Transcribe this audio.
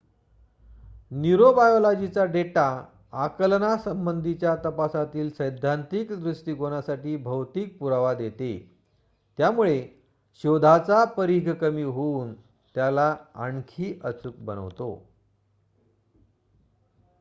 न्यूरोबायोलॉजीचा data आकलनासंबंधीच्या तपासातील सैद्धांतिक दृष्टिकोनासाठी भौतिक पुरावा देते त्यामुळे शोधाचा परीघ कमी होऊन त्याला आणखी अचूक बनवतो